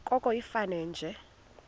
koko ifane nje